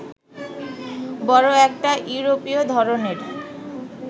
বড় একটা ইউরোপীয় ধরনের